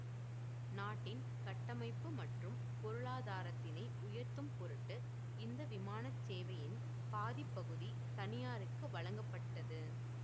நாட்டின் கட்டமைப்பு மற்றும் பொருளாதாரத்தினை உயர்த்தும்பொருட்டு இந்த விமான சேவையின் பாதிபகுதி தனியாருக்கு வழங்கப்பட்டது